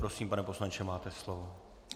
Prosím, pane poslanče, máte slovo.